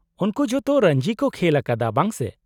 -ᱩᱱᱠᱩ ᱡᱚᱛᱚ ᱨᱚᱧᱡᱤ ᱠᱚ ᱠᱷᱮᱞ ᱟᱠᱟᱫᱟ, ᱵᱟᱝ ᱥᱮ ?